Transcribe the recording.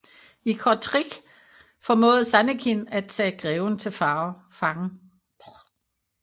I Kortrijk formåede Zannekin at tage greven til fange